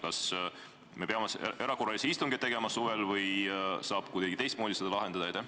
Kas me peame erakorralise istungi tegema suvel või saab seda kuidagi teistmoodi lahendada?